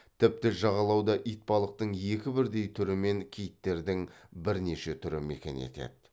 тіпті жағалауда итбалықтың екі бірдей түрі мен киттердің бірнеше түрі мекен етеді